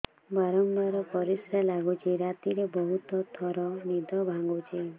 ବାରମ୍ବାର ପରିଶ୍ରା ଲାଗୁଚି ରାତିରେ ବହୁତ ଥର ନିଦ ଭାଙ୍ଗୁଛି